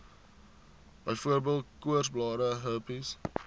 byvoorbeeld koorsblare herpes